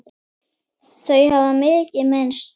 Þau hafa mikið misst.